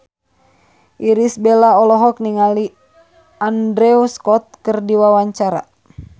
Irish Bella olohok ningali Andrew Scott keur diwawancara